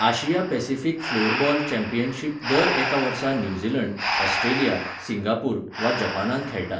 आशिया Pacific floorball championship दर एका वर्सा न्यूझीलंड, ऑस्ट्रेलिया, सिंगापूर वा जपानांत खेळटात.